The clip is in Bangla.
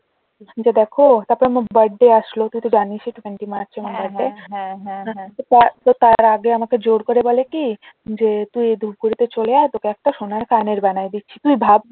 দেখো তারপর আমার birthday আসলো তুই তো জানিসই twenty march আমার birthday তো তার তো তার আগে আমাকে জোড় করে বলে কি যে তুই ধুপগুরিতে চলে আয় তোকে একটা সোনার কানের বানায়ে দিচ্ছি তুই ভাব